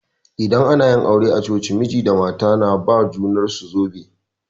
Idan ana aure a coci, miji da mata na ba ma junar su zobe.